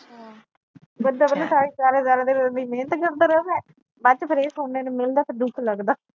ਬੰਦਾ ਪਹਿਲਾ ਸਾਰਾ ਸਾਰਾ ਸਾਰਾ ਦਿਨ ਇਹਨੀ ਮੇਹਨਤ ਕਰਦਾ ਰਹਿੰਦਾ ਬਾਅਦ ਚ ਫਿਰ ਇਹ ਸੁਣਨ ਨੇ ਨੂੰ ਮਿਲਦਾ ਫਿਰ ਦੁੱਖ ਲਗਦਾ